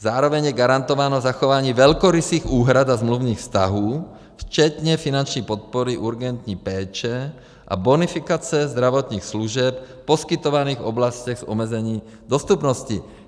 Zároveň je garantováno zachování velkorysých úhrad a smluvních vztahů včetně finanční podpory urgentní péče a bonifikace zdravotních služeb v poskytovaných oblastech s omezením dostupnosti.